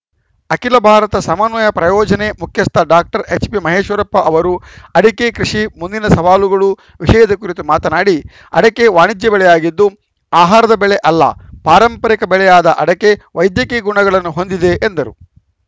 ಅಖಿಲ ಭಾರತ ಸಮನ್ವಯ ಪ್ರಾಯೋಜನೆ ಮುಖ್ಯಸ್ಥ ಡಾಕ್ಟರ್ ಎಚ್‌ಪಿ ಮಹೇಶ್ವರಪ್ಪ ಅವರು ಅಡಕೆ ಕೃಷಿ ಮುಂದಿನ ಸವಾಲುಗಳು ವಿಷಯದ ಕುರಿತು ಮಾತನಾಡಿ ಅಡಕೆ ವಾಣಿಜ್ಯಬೆಳೆಯಾಗಿದ್ದು ಆಹಾರದ ಬೆಳೆ ಅಲ್ಲ ಪಾರಂಪರಿಕ ಬೆಳೆಯಾದ ಅಡಕೆ ವೈದ್ಯಕೀಯ ಗುಣಗಳನ್ನು ಹೊಂದಿದೆ ಎಂದರು